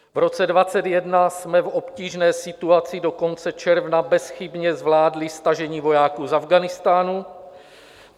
V roce 2021 jsme v obtížné situaci do konce června bezchybně zvládli stažení vojáků z Afghánistánu.